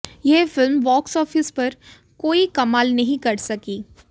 यह film box office पर कोई कमाल नहीं कर सकी